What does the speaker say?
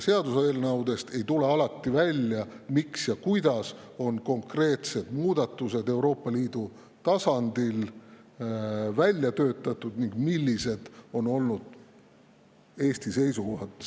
Seaduseelnõudest ei tule alati välja, miks ja kuidas on konkreetsed muudatused Euroopa Liidu tasandil välja töötatud ning millised on olnud sealjuures Eesti seisukohad.